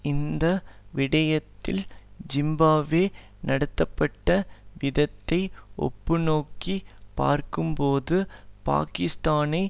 இந்த விடயத்தில் ஜிம்பாப்வே நடத்தப்பட்ட விதத்தை ஒப்புநோக்கிப் பார்க்கும்போது பாக்கிஸ்தானை